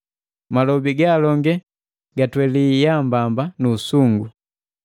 Malobi ga alonge gatweli yaambamba nu usungu.